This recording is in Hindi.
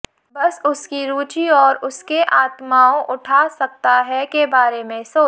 बस उसकी रुचि और उसके आत्माओं उठा सकता है के बारे में सोच